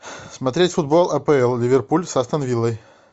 смотреть футбол апл ливерпуль с астон виллой